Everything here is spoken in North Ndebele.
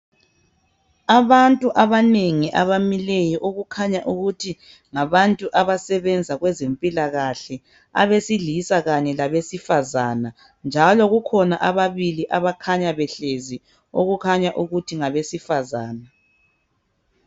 abantu abanengi abamileyo abakhanya ukuthi ngabantu abasebenza kwezempilakahle abesilizsa kanye labesifazana njalo kukhona ababili abakhanya behlezi okukhanya ukuthi ngabesifazana